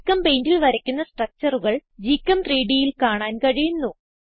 GChemPaintൽ വരയ്ക്കുന്ന structureകൾ GChem3Dൽ കാണാൻ കഴിയുന്നു